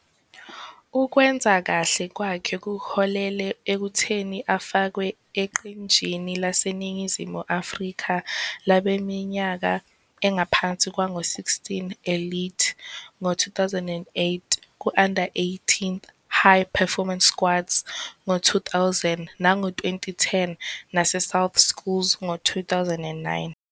Ukwenza kahle kwakhe kuholele ekutheni afakwe eqenjini laseNingizimu Afrika labaneminyaka engaphansi kwengu-16 Elite ngo-2008, ku-Under-18 High Performance squads ngo-2009 nango-2010 nasesouth Schools ngo-2009.